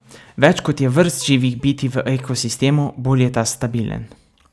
Več kot je vrst živih bitij v ekosistemu, bolj je ta stabilen.